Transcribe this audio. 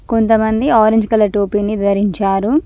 కొంతమంది orange colour టోపీని ధరించారు.